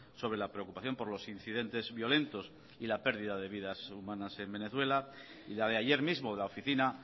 sobre la preocupación por los incidentes violentos y la pérdida de vidas humanas en venezuela y la de ayer mismo de la oficina